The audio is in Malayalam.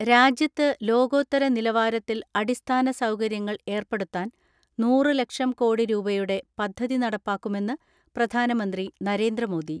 രാജ്യത്ത് ലോകോത്തര നിലവാരത്തിൽ അടിസ്ഥാന സൗകര്യങ്ങൾ ഏർപ്പെടുത്താൻ നൂറ് ലക്ഷം കോടി രൂപയുടെ പദ്ധതി നടപ്പാക്കുമെന്ന് പ്രധാനമന്ത്രി നരേന്ദ്രമോദി.